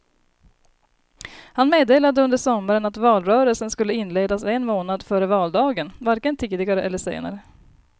Han meddelade under sommaren att valrörelsen skulle inledas en månad före valdagen, varken tidigare eller senare.